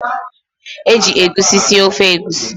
Eji egusi sie ofe egusi.